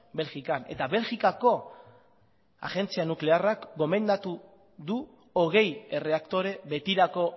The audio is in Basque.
belgikan eta belgikako agentzia nuklearrak gomendatu du hogei erreaktore betirako